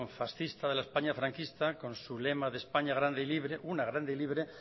fascista de la españa franquista con su lema de españa grande y libre una grande libre